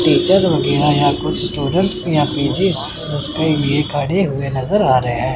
Teacher हो गया या कुछ स्टूडेंट्स भी खड़े हुए नजर आ रहे है।